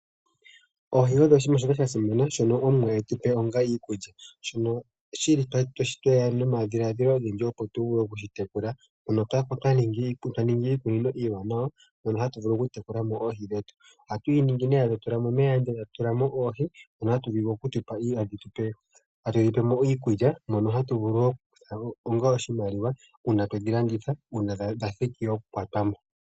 Oohi odho oshinima shoka sha simana shono Omuwa etupe onga iikulya. Shono shili tweya po nomadhiladhilo ogendji opo tu kale tweshi tekula, mpono tuli twa ninga iikunino iiwanawa mono hatu vulu oku tekula mo oohi dhetu. Ohatu yi ningi nee etatu tula mo omeya, etatu tula mo oohi mono hatu vulu oku kala hatu dhipele mo iikulya mono hatu vulu wo oku likola mo oshimaliwa uuna twedhi landitha uuna dha thiki oku kwatwa mo.